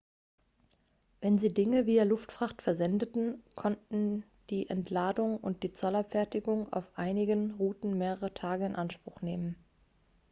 wenn sie dinge via luftfracht versendeten konnten die entladung und die zollabfertigung auf einigen routen mehrere tage in anspruch nehmen